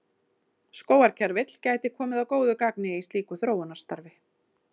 Skógarkerfill gæti komið að góðu gagni í slíku þróunarstarfi.